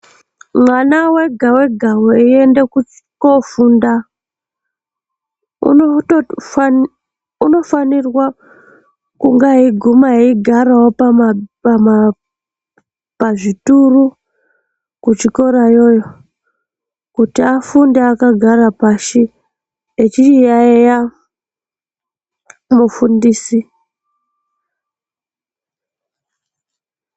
Mwana wega wega weienda kuchi..ko..ko funda unotofani.. unofanirwa kunha eyiguma eyigarawo pama..pama.. pazvituru kuchikora yoyo Kuti afunde akagara pashi, echichiyaiya mufundisi.